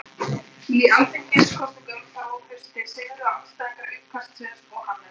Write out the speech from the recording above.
Í alþingiskosningum þá um haustið sigruðu andstæðingar uppkastsins og Hannes